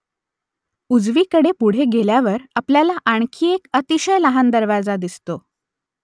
उजवीकडे पुढे गेल्यावर आपल्याला आणखी एक अतिशय लहान दरवाजा दिसतो